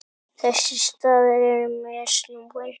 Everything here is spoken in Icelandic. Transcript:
Þessi staða er mjög snúin.